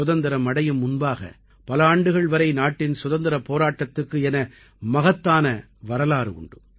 சுதந்திரம் அடையும் முன்பாக பல ஆண்டுகள் வரை நாட்டின் சுதந்திரப் போராட்டத்துக்கு என மகத்தான வரலாறு உண்டு